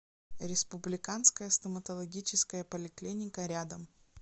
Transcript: республиканская стоматологическая поликлиника рядом